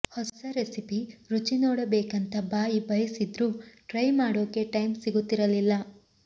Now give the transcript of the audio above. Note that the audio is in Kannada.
ಹೊಸ ರೆಸಿಪಿ ರುಚಿ ನೋಡಬೇಕಂತ ಬಾಯಿ ಬಯಸಿದ್ರೂ ಟ್ರೈ ಮಾಡೋಕೆ ಟೈಂ ಸಿಗುತ್ತಿರಲಿಲ್ಲ